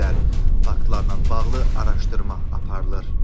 Faktlarla bağlı araşdırma aparılır.